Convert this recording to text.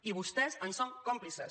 i vostès en són còmplices